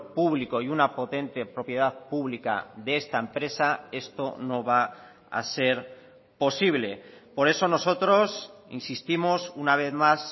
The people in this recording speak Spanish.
público y una potente propiedad pública de esta empresa esto no va a ser posible por eso nosotros insistimos una vez más